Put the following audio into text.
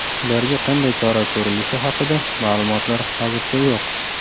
Ularga qanday chora ko‘rilishi haqida ma’lumotlar hozircha yo‘q.